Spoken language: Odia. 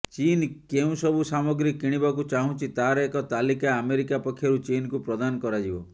ଚୀନ୍ କେଉଁସବୁ ସାମଗ୍ରୀ କିଣିବାକୁ ଚାହୁଁଛି ତାହାର ଏକ ତାଲିକା ଆମେରିକା ପକ୍ଷରୁ ଚୀନକୁ ପ୍ରଦାନ କରାଯିବ